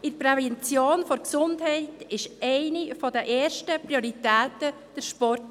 In der Gesundheitsprävention ist eine der Prioritäten der Sport.